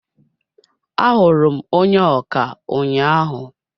A hụrụ m onye ọkà ụnyaahụ.